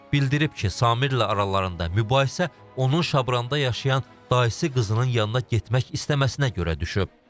Bildirib ki, Samirlə aralarında mübahisə onun Şabranda yaşayan dayısı qızının yanına getmək istəməsinə görə düşüb.